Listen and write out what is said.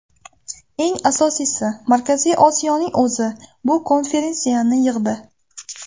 Eng asosiysi, Markaziy Osiyoning o‘zi bu konferensiyani yig‘di.